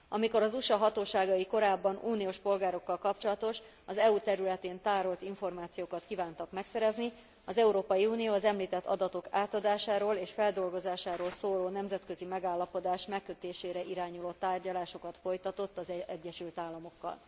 Amikor az USA hatóságai korábban, uniós polgárokkal kapcsolatos, az EU területén tárolt információkat kívántak megszerezni, az Európai Unió az említett adatok átadásáról és feldolgozásáról szóló nemzetközi megállapodás megkötésére irányuló tárgyalásokat folytatott az Egyesült Államokkal.